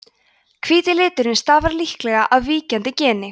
hvíti liturinn stafar líklega af víkjandi geni